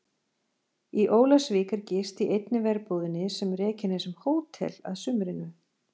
Í Ólafsvík er gist í einni verbúðinni sem rekin er sem hótel að sumrinu.